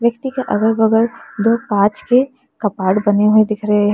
कुर्सी के अगल बगल दो कांच के कबाड़ बने हुए दिख रहे हैं।